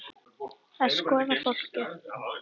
Að skoða fólkið.